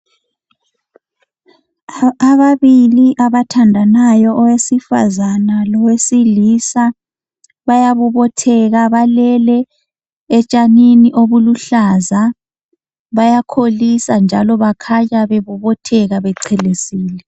Ababili abathandanayo owesifazana lowesilisa bayabobotheka balele etshanini obuluhlaza bayakholisa njalo bakhanya bebobotheka bechelesile.